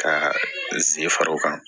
Ka n sen fara o kan